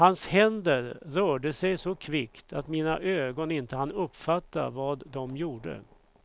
Hans händer rörde sig så kvickt att mina ögon inte hann uppfatta vad de gjorde.